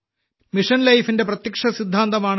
mission life ന്റെ പ്രത്യക്ഷ സിദ്ധാന്തമാണ്